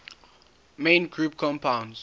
main group compounds